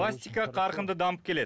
пластика қарқынды дамып келеді